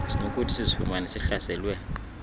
sinokuthi sizifumane sihlaselwe